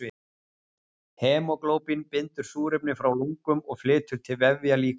Hemóglóbín bindur súrefni frá lungum og flytur til vefja líkamans.